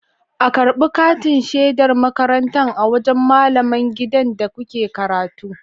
A karbi katin shedar makaranta a wajan malaman gidan da kuke karatu